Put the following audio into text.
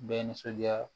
Bɛɛ nisɔndiya